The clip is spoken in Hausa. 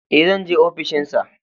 Ee, zan je ofishin sa.